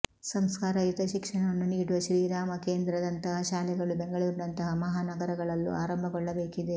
ಸಂಸ್ಕಾರಯುತ ಶಿಕ್ಷಣವನ್ನು ನೀಡುವ ಶ್ರೀರಾಮ ಕೇಂದ್ರದಂತಹ ಶಾಲೆಗಳು ಬೆಂಗಳೂರಿನಂತಹ ಮಹಾನಗರಗಳಲ್ಲೂ ಆರಂಭಗೊಳ್ಳಬೇಕಿದೆ